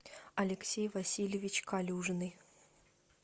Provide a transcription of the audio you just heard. алексей васильевич калюжный